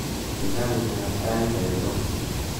wal rangikab tait engo